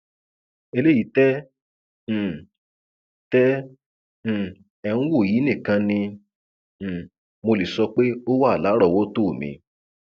eléyìí tẹ um tẹ um ẹ ń wò yìí nìkan ni um mo lè sọ pé ó wà lárọọwọtó mi